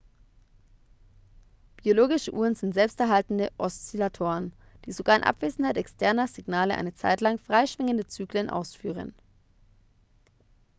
biologische uhren sind selbsterhaltende oszillatoren die sogar in abwesenheit externer signale eine zeitlang freischwingende zyklen ausführen